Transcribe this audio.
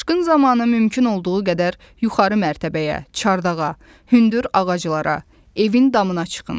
Daşqın zamanı mümkün olduğu qədər yuxarı mərtəbəyə, çardağa, hündür ağaclara, evin damına çıxın.